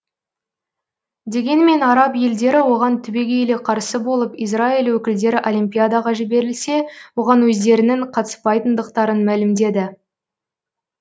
дегенмен араб елдері оған түбегейлі қарсы болып израиль өкілдері олимпиадаға жіберілсе оған өздерінің қатыспайтындықтарын мәлімдеді